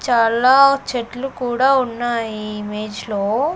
చాలా చెట్లు కూడా ఉన్నాయి ఈ ఇమేజ్ లో .